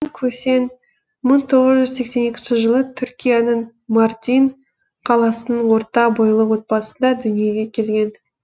көсен мың тоғыз жүз сексен екінші жылы түркияның мардин қаласының орта бойлы отбасында дүниеге келген